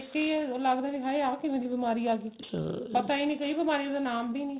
ਦੇਖ ਕੇ ਹੀ ਲਗਦਾ ਵੀ ਹਾਏ ਆਹ ਕਿਵੇਂ ਦੀ ਬਿਮਾਰੀ ਆਗੀ ਪਤਾ ਨਹੀਂ ਕਈ ਬਿਮਾਰੀਆਂ ਦਾ ਨਾਮ ਬੀ ਨੀ